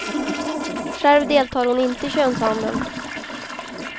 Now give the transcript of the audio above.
Själv deltar hon inte i könshandeln.